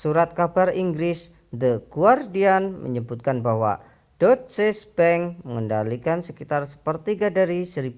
surat kabar inggris the guardian menyebutkan bahwa deutsche bank mengendalikan sekitar sepertiga dari 1.200